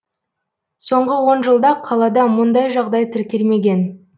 соңғы он жылда қалада мұндай жағдай тіркелмеген